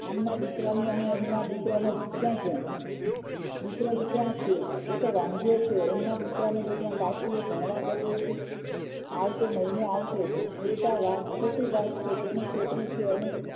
આમના દીકરાની અને એમના દીકરાની ક્યા છે દિકરો વિચાર છે એતો વાંઢો એમના દીકરાએ બેટા કાશીએ ભણવા ગ્યો છે આવશે મહિને આવશે બેટા ખોટી વાત છે તને છેતરી છે અને